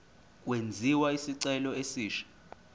kwenziwe isicelo esisha